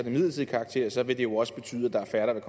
midlertidig karakter så vil det jo også betyde at der er færre der vil